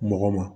Mɔgɔ ma